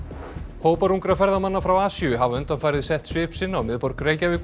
hópar ungra ferðamanna frá Asíu hafa undanfarið sett svip sinn á miðborg Reykjavíkur